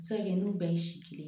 A bɛ se ka kɛ n'u bɛɛ ye si kelen